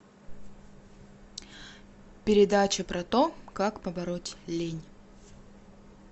передача про то как побороть лень